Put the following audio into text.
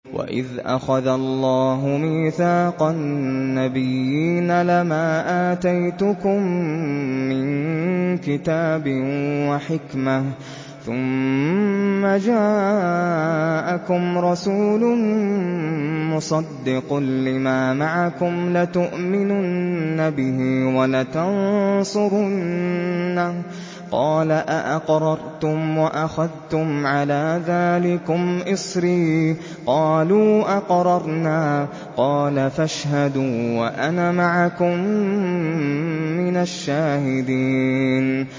وَإِذْ أَخَذَ اللَّهُ مِيثَاقَ النَّبِيِّينَ لَمَا آتَيْتُكُم مِّن كِتَابٍ وَحِكْمَةٍ ثُمَّ جَاءَكُمْ رَسُولٌ مُّصَدِّقٌ لِّمَا مَعَكُمْ لَتُؤْمِنُنَّ بِهِ وَلَتَنصُرُنَّهُ ۚ قَالَ أَأَقْرَرْتُمْ وَأَخَذْتُمْ عَلَىٰ ذَٰلِكُمْ إِصْرِي ۖ قَالُوا أَقْرَرْنَا ۚ قَالَ فَاشْهَدُوا وَأَنَا مَعَكُم مِّنَ الشَّاهِدِينَ